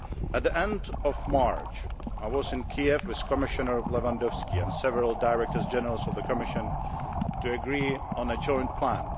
At the end of March I was in Kiev with Commissioner Lewandowski and several Directors General of the Commission to agree on a joint plan.